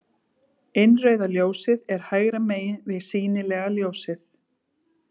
Innrauða ljósið er hægra megin við sýnilega ljósið.